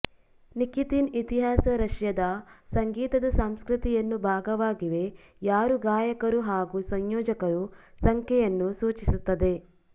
Nikitin ಇತಿಹಾಸ ರಷ್ಯಾದ ಸಂಗೀತದ ಸಂಸ್ಕೃತಿಯನ್ನು ಭಾಗವಾಗಿವೆ ಯಾರು ಗಾಯಕರು ಹಾಗೂ ಸಂಯೋಜಕರ ಸಂಖ್ಯೆಯನ್ನು ಸೂಚಿಸುತ್ತದೆ